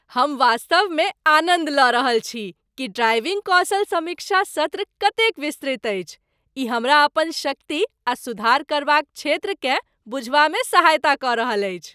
हम वास्तवमे आनन्द लऽ रहल छी कि ड्राइविंग कौशल समीक्षा सत्र कतेक विस्तृत अछि, ई हमरा अपन शक्ति आ सुधार करबाक क्षेत्रकेँ बुझबामे सहायता कऽ रहल अछि।